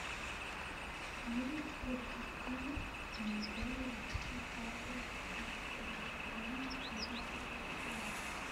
можешь включить фильм анатолия валевского три богатыря и наследница престола